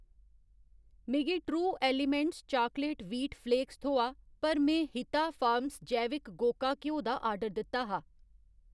मिगी true elements chocolate wheat flakes थ्होआ पर में हिता फार्मस जैविक गोका घ्यो दा आर्डर दित्ता हा।